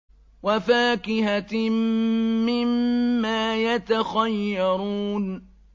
وَفَاكِهَةٍ مِّمَّا يَتَخَيَّرُونَ